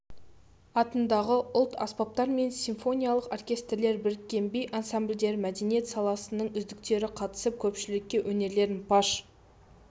атындағы ұлт-аспаптар және симфониялық оркестрлер біріккен би ансамбльдері мәдениет саласының үздіктері қатысып көпшілікке өнерлерін паш